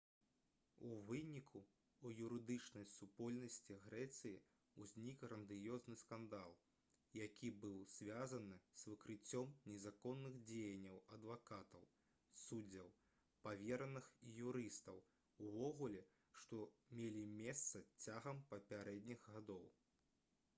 у выніку у юрыдычнай супольнасці грэцыі ўзнік грандыёзны скандал які быў звязаны з выкрыццём незаконных дзеянняў адвакатаў суддзяў павераных і юрыстаў увогуле што мелі месца цягам папярэдніх гадоў